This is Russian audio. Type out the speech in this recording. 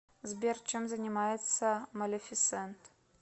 сбер чем занимается малефисент